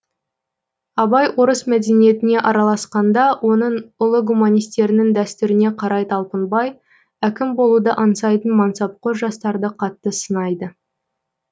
абай орыс мәдениетіне араласқанда оның ұлы гуманистерінің дәстүріне қарай талпынбай әкім болуды аңсайтын мансапқор жастарды қатты сынайды